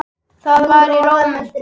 Það var í Róm.